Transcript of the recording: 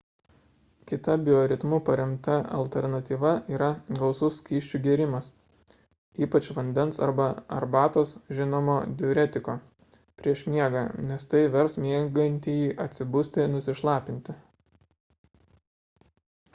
kita bioritmu paremta alternatyva yra gausus skysčių gėrimas ypač vandens arba arbatos žinomo diuretiko prieš miegą nes tai vers miegantįjį atsibusti nusišlapinti